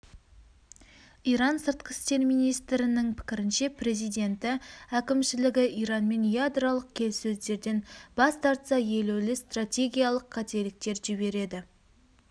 иран сыртқы істер министрінің пікірінше президенті әкімшілігі иранмен ядролық келіссөздерден бас тартса елеулі стратегиялық қателіктер жібереді